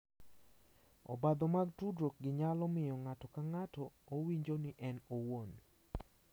Obadho mag tudruok gi nyalo miyo ng’ato ka ng’ato owinjo ni en owuon